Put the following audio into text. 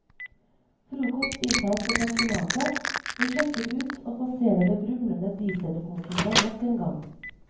Frokost inntas på pensjonatet, vi sjekker ut og passerer det brumlende diesellokomotivet nok en gang.